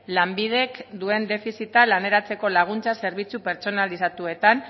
lanbidek duen defizita laneratzeko laguntza zerbitzu pertsonalizatuetan